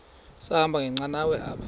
sahamba ngenqanawa apha